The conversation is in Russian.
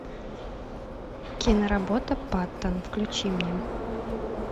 киноработа паттон включи мне